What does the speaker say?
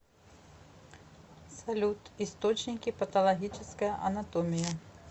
салют источники патологическая анатомия